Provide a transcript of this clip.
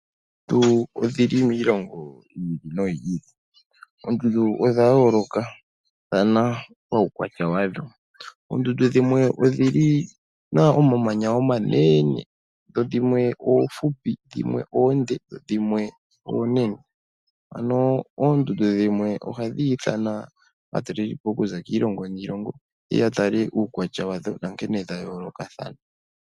Oondundu odhili miilongo yi ili noyi ili nodha yooloka paukwatya wadho. dhimwe odhina omamanya omanene, dhimwe oonde, noohupi dhimwe oonene. Oondundu dhimwe ohadhi eta aatalelipo okuza kiilongo niilongo yeye ya tale uukwatya wadho.